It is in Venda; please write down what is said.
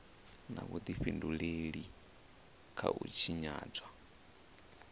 na vhudifhinduleli kha u tshinyadzwa